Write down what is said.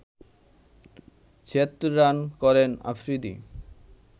৭৬ run করেন আফ্রিদি